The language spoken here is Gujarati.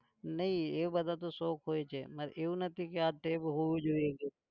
નહિ એ બધા તો શોખ હોય છે મારે એવું નથી કે આ ટેવ હોવી જોઈએ છે.